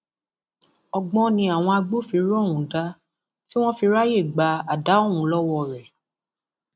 ọgbọn ni àwọn agbófinró ọhún dá tí wọn fi ráàyè gba àdá ọhún lọwọ rẹ